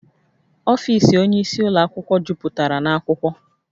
Ọfiisi onye isi ụlọ akwụkwọ juputara na akwụkwọ